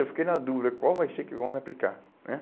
Eu fiquei na dúvida, qual vai ser que vão me aplicar né?